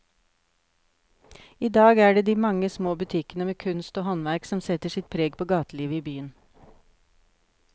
I dag er det de mange små butikkene med kunst og håndverk som setter sitt preg på gatelivet i byen.